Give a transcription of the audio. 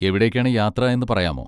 എവിടേക്കാണ് യാത്ര എന്ന് പറയാമോ?